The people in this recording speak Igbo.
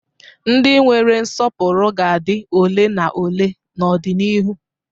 Ndị nwere nsọpụrụ ga-adị ole na ole n'ọdịnihu.